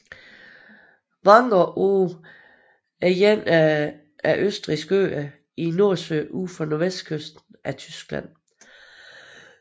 Wangerooge er en af Østfrisiske Øer i Nordsøen ud for nordvestkysten af Tyskland